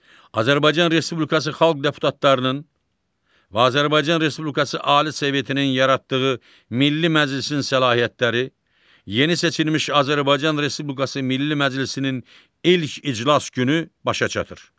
Azərbaycan Respublikası Xalq Deputatlarının və Azərbaycan Respublikası Ali Sovetinin yaratdığı Milli Məclisin səlahiyyətləri, yeni seçilmiş Azərbaycan Respublikası Milli Məclisinin ilk iclas günü başa çatır.